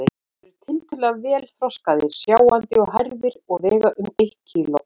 Þeir eru tiltölulega vel þroskaðir, sjáandi og hærðir og vega um eitt kíló.